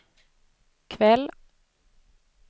kväll